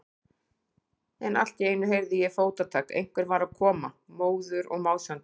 En allt í einu heyrði ég fótatak, einhver var að koma, móður og másandi.